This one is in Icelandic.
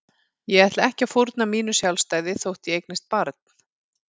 Ég ætla ekki að fórna mínu sjálfstæði þótt ég eignist barn.